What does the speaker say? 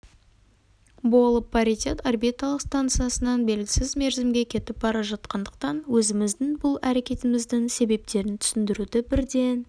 болып паритет орбиталық станциясынан белгісіз мерзімге кетіп бара жатқандықтан өзіміздің бұл әрекетіміздің себептерін түсіндіруді бірден